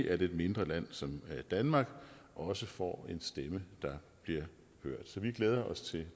at et mindre land som danmark også får en stemme der bliver hørt så vi glæder os til